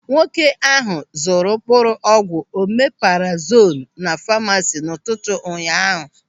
Nwoke ahụ zụrụ mkpụrụ ọgwụ omeparazolu na famasi n'ụtụtụ ụnyaahụ.